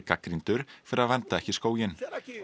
gagnrýndur fyrir að vernda ekki skóginn